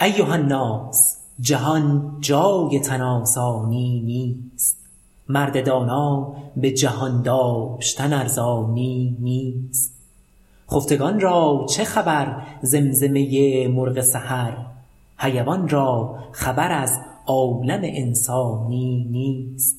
ایهاالناس جهان جای تن آسانی نیست مرد دانا به جهان داشتن ارزانی نیست خفتگان را چه خبر زمزمه مرغ سحر حیوان را خبر از عالم انسانی نیست